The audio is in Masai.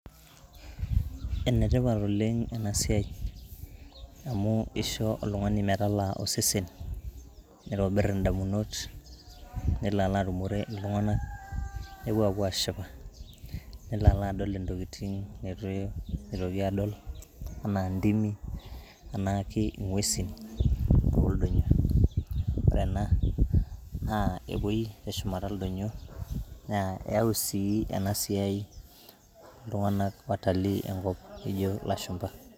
enetipat oleng' ena siaai, amu eisho oltung'ani metalaa osesen, neitobir indamunot , nelo atumore iltung'anak nepuo apuo ashipa nelo alo adol intokiting' neitu eitoki adol anaa intimi, anaa ingwesi oldonyo. ore ena naa epuoi te shumata ildonyo, eyau sii ena siai watalii enkop loijo ilashumba.